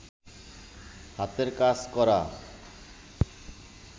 হাতের কাজ করা